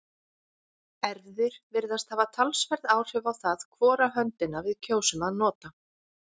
erfðir virðast hafa talsverð áhrif á það hvora höndina við kjósum að nota